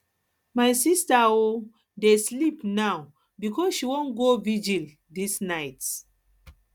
my sista um dey sleep now because she wan go virgil dis night